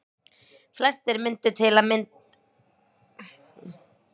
Flestir myndu til að mynda samþykkja að kristni, búddismi og hindúatrú væru mismunandi trúarbrögð.